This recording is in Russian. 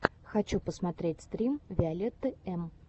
хочу посмотреть стрим виолетты эм